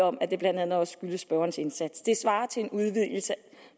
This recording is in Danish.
om at det blandt andet også skyldes spørgerens indsats det svarer til en udvidelse